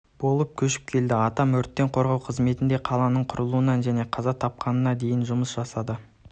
болып көшіп келді атам өрттен қорғау қызметінде қаланың құрылуынан және қаза тапқанына дейін жұмыс жасады